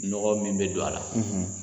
Nɔgɔ min bɛ don a la